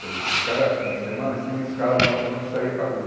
Quer dizer, cada fim de semana tinha uma escala de uma turma que saía para a rua.